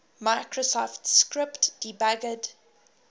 microsoft script debugger